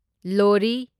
ꯂꯣꯍꯔꯤ